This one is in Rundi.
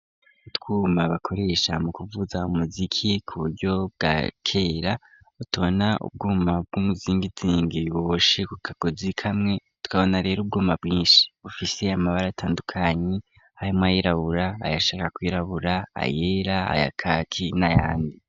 Utwuma bakoresha mu kuvuza umuziki ku buryo bwakera otona ubwuma bw'umuzingitingi ku kagozi kamwe tukabona rero ubwuma bwinshi bufise amabara atandukanye harimwo ayirabura ayashaka kwirabura ayera aya kaki n'ayandi.